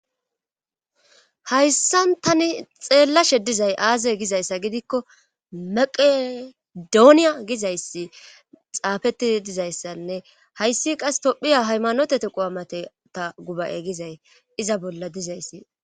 Hayssan tani xeellashe dizay aaze gizayssa gidikko maqedooniya gizayssi xaafettii dizayssanne hayssi qas tophiya haymanotete qoamate ta gubaye gizay iza bolla dizayssi.